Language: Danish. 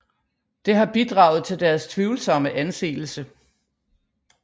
Det har bidraget til deres tvivlsomme anseelse